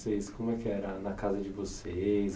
Vocês como é que era na casa de vocês?